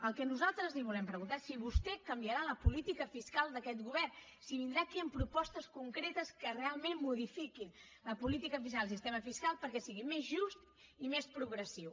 el que nosaltres li volem preguntar és si vostè canviarà la política fiscal d’aquest govern si vindrà aquí amb propostes concretes que realment modifiquin la política fiscal i el sistema fiscal perquè sigui més just i més progressiu